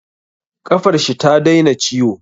Ƙafar shi ta daina ciwo